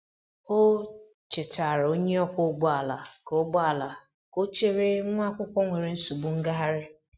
O chetaara onye ọkwọ ụgbọ ala ka ụgbọ ala ka ọ chere nwa akwụkwọ nwere nsogbu ngagharị.